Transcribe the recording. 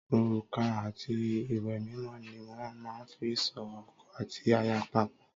Òrùka àti ìwé mímọ ni wọ́n máa ń fí so ọkọ àti aya pò.